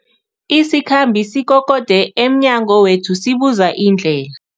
Isikhambi sikokode emnyango wethu sibuza indlela.